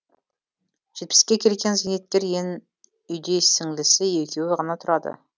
жетпіске келген зейнеткер ен үйде сіңлісі екеуі ғана тұрады